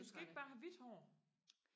men du skal ikke bare have hvidt hår